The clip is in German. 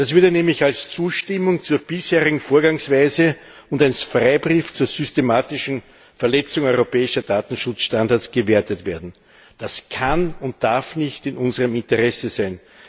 Das würde nämlich als Zustimmung zur bisherigen Vorgehensweise und als Freibrief zur systematischen Verletzung europäischer Datenschutzstandards gewertet werden. Das kann und darf nicht in unserem Interesse sein!